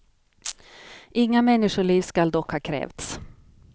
Inga människoliv skall dock ha krävts.